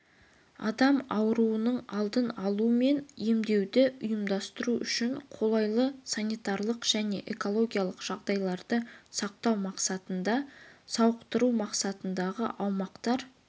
адам ауруының алдын алу мен емдеуді ұйымдастыру үшін қолайлы санитарлық және экологиялық жағдайларды сақтау мақсатында сауықтыру мақсатындағы аумақтар